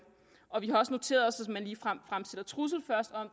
og vi har også noteret os at hvis man ligefrem fremsætter trussel